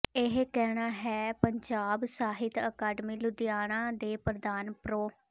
ਇਹ ਕਹਿਣਾ ਹੈ ਪੰਜਾਬੀ ਸਾਹਿਤ ਅਕਾਡਮੀ ਲੁਧਿਆਣਾ ਦੇ ਪ੍ਰਧਾਨ ਪ੍ਰਰੋ